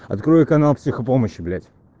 открой канал психопомощи блять